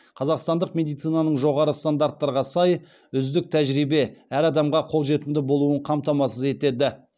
қазақстандық медицинаның жоғары стандарттарға сай үздік тәжірибе әр адамға қолжетімді болуын қамтамасыз етеді